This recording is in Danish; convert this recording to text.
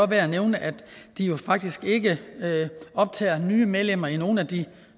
værd at nævne at de faktisk ikke optager nye medlemmer i nogen af de